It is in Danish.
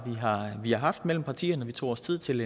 vi har haft mellem partierne vi tog os tid til